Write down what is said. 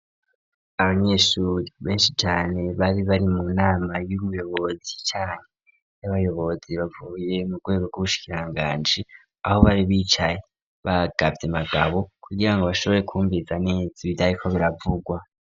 Abanyeshuri benshi cane, bari bari mu nama y'muyobozi canke y'abayobozi bavuye mu rwego ,rwubushikiranganji, aho bari bicaye bagavye magabo kugira ngo bashobore kumviriza neza ivyariko biravugwa.